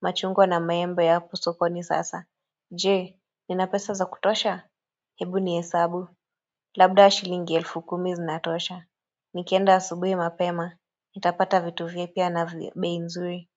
machungwa na maembo yapo sokoni sasa Je, nina pesa za kutosha? Hebu ni hesabu. Labda shilingi elfu kumi zinatosha. Nikienda asubui mapema. Nitapata vitu vipya na vya bei nzuri.